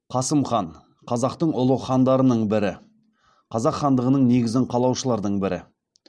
қасым хан қазақтың ұлы хандарының бірі қазақ хандығының негізін қалаушылардың бірі